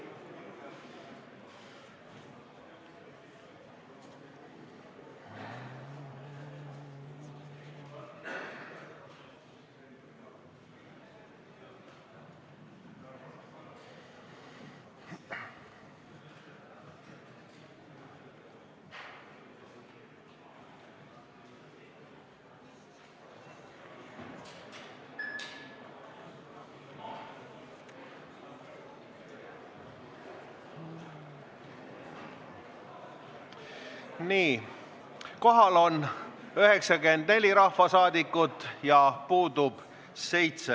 Kohaloleku kontroll Kohal on 94 rahvasaadikut ja puudub 7.